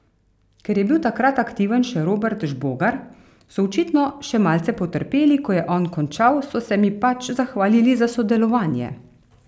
Ker je bil takrat aktiven še Robert Žbogar, so očitno še malce potrpeli, ko je on končal, so se mi pač zahvalili za sodelovanje.